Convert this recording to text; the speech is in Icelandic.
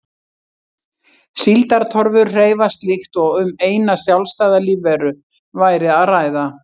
Síldartorfur hreyfast líkt og um eina sjálfstæða lífveru væri að ræða.